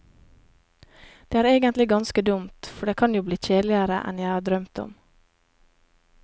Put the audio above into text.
Det er egentlig ganske dumt, for det kan jo bli kjedeligere enn jeg har drømt om.